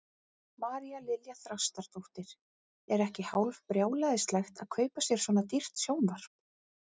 María Lilja Þrastardóttir: Er ekki hálf brjálæðislegt að kaupa sér svona dýrt sjónvarp?